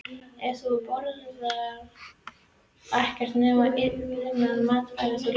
Ef þú borðar ekkert nema linan mat verður þú linur.